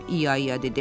İya-İya dedi.